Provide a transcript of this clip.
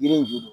Yiri in juru don